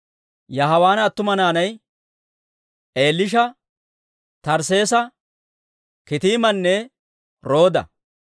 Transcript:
Yaawaana attuma naanay Eliisha, Tarsseesa, Kitiimanne Rooda.